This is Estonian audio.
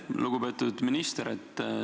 Lugupeetud minister!